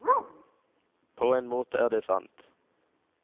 På en måte er det sant.